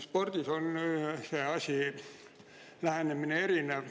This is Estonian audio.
Spordis on see lähenemine erinev.